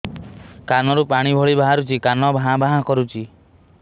କାନ ରୁ ପାଣି ଭଳି ବାହାରୁଛି କାନ ଭାଁ ଭାଁ କରୁଛି